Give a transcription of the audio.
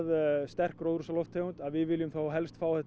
sterk gróðurhúsalofttegund að við viljum fá þetta